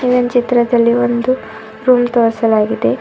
ಮೇಲಿನ ಚಿತ್ರದಲ್ಲಿ ಒಂದು ರೂಮ್ ತೋರ್ಸಲಾಗಿದೆ.